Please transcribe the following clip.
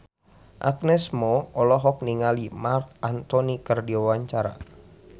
Agnes Mo olohok ningali Marc Anthony keur diwawancara